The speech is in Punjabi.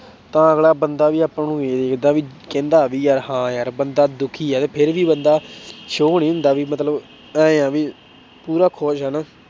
ਤਾਂ ਅਗਲਾ ਬੰਦਾ ਵੀ ਆਪਾਂ ਨੂੰ ਵੇਖਦਾ ਵੀ ਕਹਿੰਦਾ ਵੀ ਯਾਰ ਹਾਂ ਯਾਰ ਬੰਦਾ ਦੁੱਖੀ ਹੈ ਤੇ ਫਿਰ ਵੀ ਬੰਦਾ show ਨੀ ਹੁੰਦਾ ਵੀ ਮਤਲਬ ਇਉਂ ਵੀ ਪੂਰਾ ਖ਼ੁਸ਼ ਆ ਨਾ